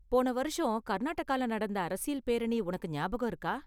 போன வருஷம் கர்நாடகால நடந்த அரசியல் பேரணி உனக்கு ஞாபகம் இருக்கா?